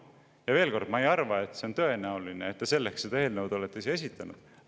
Ja veel kord: ma ei arva, et see on tõenäoline, et te selleks selle eelnõu olete esitanud.